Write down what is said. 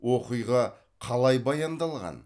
оқиға қалай баяндалған